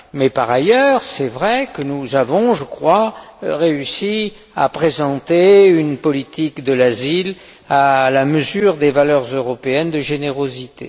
Mais, par ailleurs, il est vrai que nous avons, je crois, réussi à présenter une politique de l'asile à la mesure des valeurs européennes de générosité.